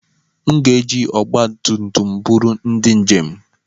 M ga-eji ọgba tum tum m buru ndị njem.